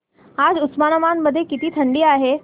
आज उस्मानाबाद मध्ये किती थंडी आहे